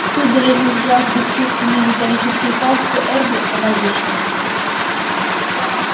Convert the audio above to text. судорожно сжав бесчувственные металлические пальцы эрби она вышла